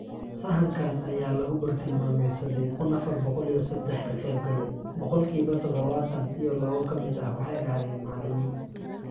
Sahankan ayaa lagu bartilmaameedsaday kun afar boqol iyo sedax kaqeybgale, boqolkiba tadhawatan iyo lawo ka mid ah waxay ahaayeen macalimiin.